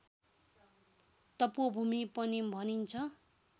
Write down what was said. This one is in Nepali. तपोभूमि पनि भनिन्छ